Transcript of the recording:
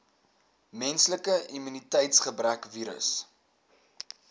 menslike immuniteitsgebrekvirus